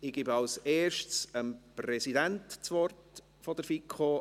Kommissionspräsident der FiKo.